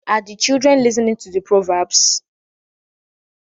Are the children listening to the proverbs?